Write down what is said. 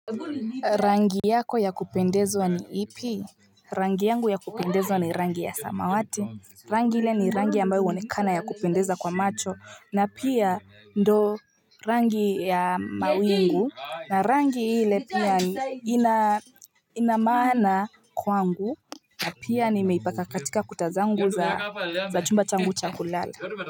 Rangi yako ya kupendezwa ni ipi? Rangi yangu ya kupendezwa ni rangi ya samawati. Rangi ile ni rangi ambayo huonekana ya kupendeza kwa macho. Na pia ndio rangi ya mawingu. Na rangi ile pia ina maana kwangu. Na pia nimeipaka katika kuta zangu za chumba changu cha kulala.